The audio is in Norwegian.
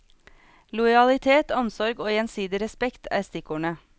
Lojalitet, omsorg og gjensidig respekt er stikkordene.